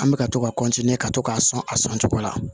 An bɛ ka to ka ka to k'a sɔn a sɔn cogo la